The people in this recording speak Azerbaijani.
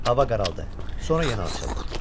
Hava qaraldı, sonra yenə açıldı.